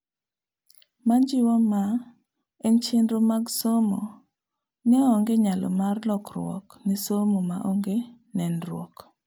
Majiwo ma en chenro mag somo neonge nyalo mar lokruok ne somo maonge nenruok